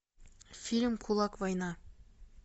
фильм кулак война